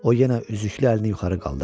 O yenə üzüklü əlini yuxarı qaldırdı.